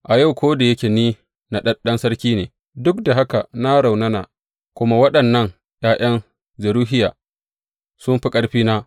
A yau, ko da yake ni naɗaɗɗen sarki ne, duk da haka na raunana, kuma waɗannan ’ya’yan Zeruhiya sun fi ƙarfina.